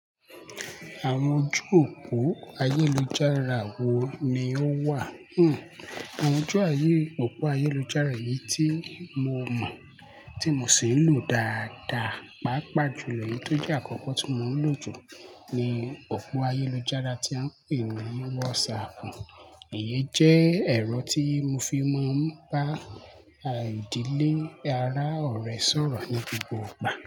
Àwọn ojú òpó ayélujára wo ni ó wà? Hmm àwọn ojú òpó ayélujára yìí tí mo mọ̀ tí mo sì ń lò dáadáa, pàápàá jù lọ èyí tó jẹ́ àkọ́kọ́ tí mò ń lò jù ni òpó ayélujára tí a ń pè ní WhatsApp. Èyí jẹ́ ẹ̀rọ tí mo fi máa ń bá ìdílé ará ọ̀rẹ́ sọ̀rọ̀ ní gbogbo ìgbà.